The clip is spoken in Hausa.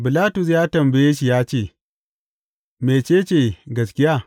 Bilatus ya tambaye shi ya ce, Mece ce gaskiya?